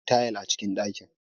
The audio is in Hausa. Babu tayal a cikin dakin.